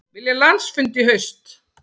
Vilja landsfund í haust